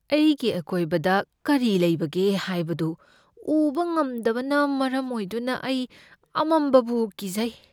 ꯑꯩꯒꯤ ꯑꯀꯣꯏꯕꯗ ꯀꯔꯤ ꯂꯩꯕꯒꯦ ꯍꯥꯏꯕꯗꯨ ꯎꯕ ꯉꯝꯗꯕꯅ ꯃꯔꯝ ꯑꯣꯏꯗꯨꯅ ꯑꯩ ꯑꯃꯝꯕꯕꯨ ꯀꯤꯖꯩ꯫